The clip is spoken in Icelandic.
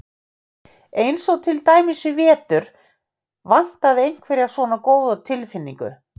Eins og til dæmis í vetur vantaði einhverja svona góða tilfinningu.